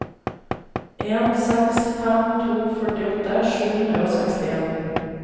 en seks fem to førtiåtte sju hundre og sekstien